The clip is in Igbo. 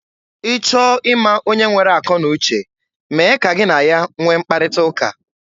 Ị chọọ ịma onye nwere akọ na uche, mee ka gị na ya nwee mkparịta ụka.